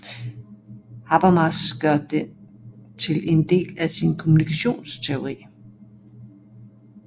Habermas gør den til en del af sin kommunikationsteori